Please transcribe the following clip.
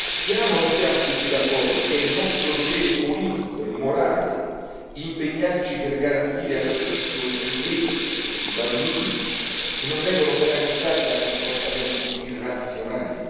Siamo o non siamo tutti d'accordo che è nostro dovere politico e morale impegnarci per garantire anzitutto che i più deboli, i bambini, non vengano penalizzati da comportamenti irrazionali?